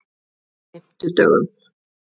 fimmtudögunum